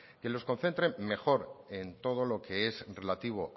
que los concentre mejor en todo lo que es relativo